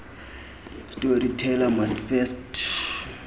storyteller must first